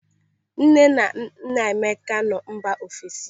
Nne na nna Emeka nọ mba ofesi.